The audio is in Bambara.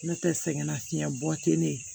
N'o tɛ sɛgɛnnafiɲɛbɔ tɛ ne